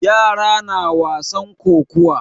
Yara na wasan kokuwa.